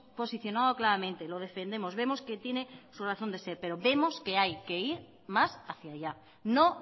posicionado claramente lo defendemos vemos que tiene su razón de ser pero vemos que hay que ir más hacia allá no